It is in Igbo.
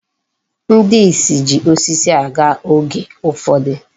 Ndị isi ji osisi aga oge ụfọdụ.